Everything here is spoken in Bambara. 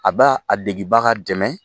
A b'a a degibaga dɛmɛ.